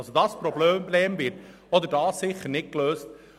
Dieses Problem wird hier sicherlich nicht gelöst.